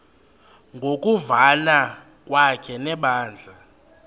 ngokuvana kwakhe nebandla